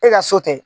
E ka so tɛ